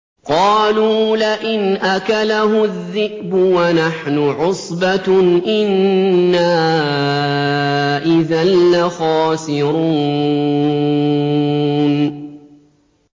قَالُوا لَئِنْ أَكَلَهُ الذِّئْبُ وَنَحْنُ عُصْبَةٌ إِنَّا إِذًا لَّخَاسِرُونَ